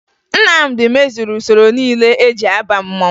Nnamdi mezuru usoro niile eji aba mmanwụ